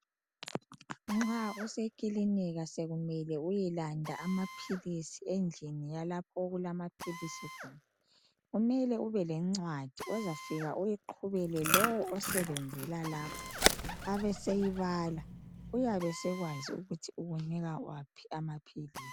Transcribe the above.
Nxa usekilinika sekumele uyelanda amaphilisi endlini yalapho okulamaphilisi khona kumele ubelencwadi, ozafika uyiqhubele lowo osebenzela lapho. Abeseyibala, uyabe esekwazi ukuthi ukupha waphi amaphilisi.